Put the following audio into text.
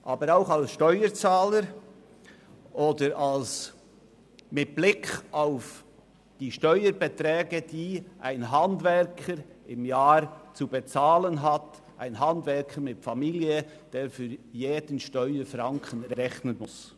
Aber sie entspricht meiner Haltung auch als Steuerzahler oder mit Blick auf die Steuerbeträge, die ein Handwerker mit Familie pro Jahr zu bezahlen hat, der für jeden Steuerfranken rechnen muss.